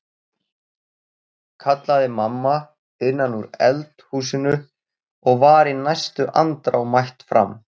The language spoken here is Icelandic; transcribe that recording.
kallaði mamma innan úr eld húsinu og var í næstu andrá mætt fram.